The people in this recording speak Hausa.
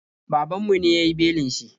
Babanmu ne ya yi belin shi.